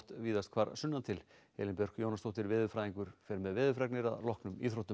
víðast hvar sunnan til Elín Björk Jónasdóttir veðurfræðingur fer með veðurfregnir að loknum íþróttum